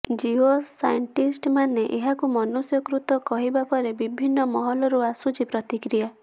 ଜିଓ ସାଇଣ୍ଟିଷ୍ଟମାନେ ଏହାକୁ ମନୁଷ୍ୟକୃତ କହିବା ପରେ ବିଭିନ୍ନ ମହଲରୁ ଆସୁଛି ପ୍ରତିକ୍ରିୟା